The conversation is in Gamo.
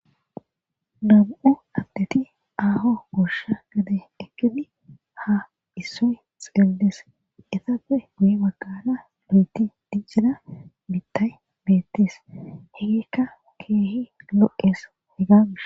Namu'u abdeti aho gursha gade ekkidi ha issoy xeellees isappe guye baggana lu'eti dijjida bittay beettes hegekka keehi lo'es hegagis.